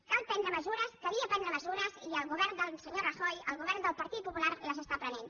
cal prendre mesures calia prendre mesures i el govern del senyor rajoy el govern del partit popular les està prenent